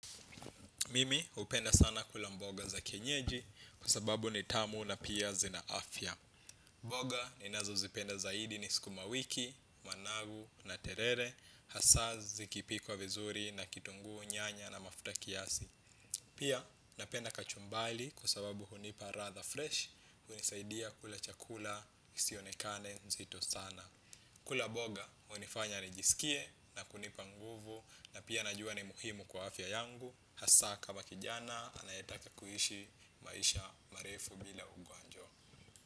Mimi hupenda sana kula mboga za kienyeji kwa sababu ni tamu na pia zina afya. Mboga ninazozipenda zaidi ni sukuma wiki, managu na terere, hasa zikipikwa vizuri na kitunguu nyanya na mafuta kiasi. Pia napenda kachumbari kwa sababu hunipa ladha fresh, hunisaidia kula chakula, isionekane nzito sana. Kula mboga hunifanya nijisikie na kunipa nguvu na pia najua ni muhimu kwa afya yangu hasa kama kijana anayetaka kuishi maisha marefu bila ugonjwa.